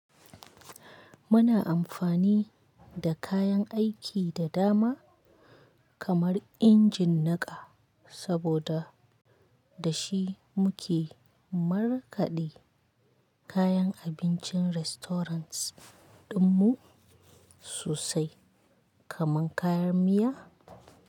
Muna amfani da kayan aiki da dama kamar injin niƙa, saboda, da shi muke markaɗe kayan abincin restaurant ɗinmu sosai kamar kayan miya.